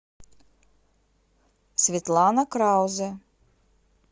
светлана краузе